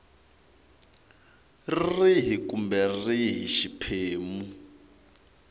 rihi kumbe rihi kumbe xiphemu